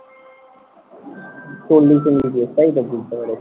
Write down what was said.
চল্লিশ MBPS তাইতো? বুঝতে পেরেছি।